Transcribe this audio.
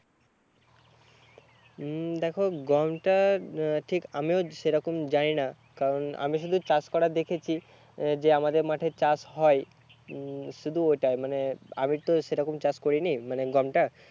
হম দেখো গম টা হম ঠিক আমিও সেরকম জানি না কারণ আমি শুধু চাষ করা দেখেছি যে আমাদের মাঠে চাষ হয় উম শুধু ওটাই মানে আমি তো সেরকম চাষ করিনি মানে গোমটা